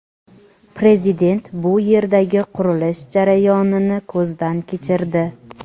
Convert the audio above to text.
Prezident bu yerdagi qurilish jarayonini ko‘zdan kechirdi.